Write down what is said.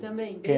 Também? É